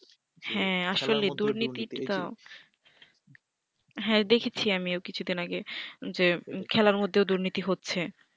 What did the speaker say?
হ্যা আসলে দুর্নীতি তো হ্যা দেখেছি আমিও কিছু দিন আগে যে খেলার মধ্যে দুর্নীতি হচ্ছে